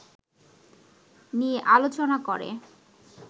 নিয়ে আলোচনা করে